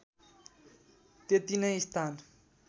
त्यति नै स्थान